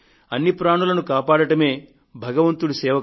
అన్ని ప్రాణులను కాపాడడమే కదా భగవంతుడి సేవ